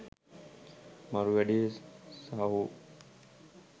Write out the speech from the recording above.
මරු වැඩේ සහෝ.